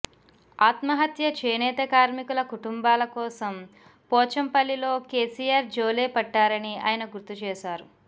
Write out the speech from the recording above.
ఆత్మహత్య చేనేత కార్మికుల కుటుంబాల కోసం పోచంపల్లిలో కెసిఆర్ జోలె పట్టారని ఆయన గుర్తు చేశారు